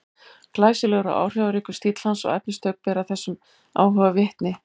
Glæsilegur og áhrifaríkur stíll hans og efnistök bera þessum áhuga vitni.